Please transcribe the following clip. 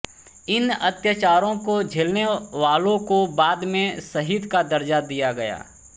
इन अत्याचारों को झेलने वालों को बाद में शहीद का दर्ज़ा दिया गया